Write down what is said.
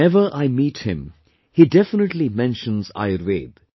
Whenever I meet him, he definitely mentions Ayurveda